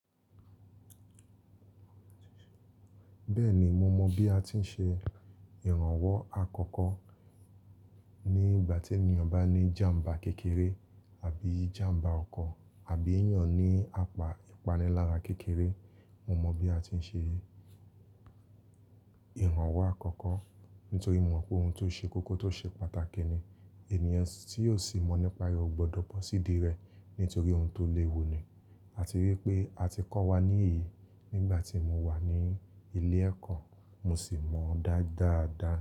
Bẹ́ẹ̀ni mo mọ bí a ti ń ṣe ìrànwọ́ àkọ́kọ́ nígbà tí ènìyàn bá ní jàmbá kékeré àbí jàmbá ọkọ̀ àbí ènìyàn ní apá ìpanilára kékeré. Mo mọ bí a ti ń ṣe ìrànwọ́ àkọ́kọ́ nítorí mo mọ̀ pé òun tó ṣe kókó tó ṣe pàtàkì ni. Ẹ̀níyàn tí yóò sì mọ nípa rẹ̀ ó gbọdọ̀ bọ́ sídi rẹ̀ nítorí òun tó léwu ni. A ti rí i pé a ti kọ́ wa ní èyí nígbà tí mo wà ní ilé ẹ̀kọ́, mo sì mọ̀ ọ́n dáadáa dá.